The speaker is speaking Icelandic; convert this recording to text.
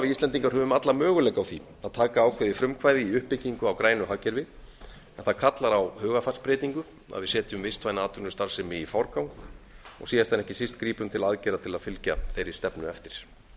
íslendingar höfum alla möguleika á því að taka ákveðið frumkvæði í uppbyggingu á grænu hagkerfi en það kallar á hugarfarsbreytingu að við setjum vistvæna atvinnustarfsemi í forgang og síðast en ekki síst grípum til aðgerða til að fylgja þeirri stefnu eftir